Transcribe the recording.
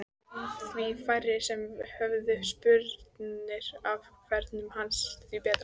Því færri sem höfðu spurnir af ferðum hans því betra.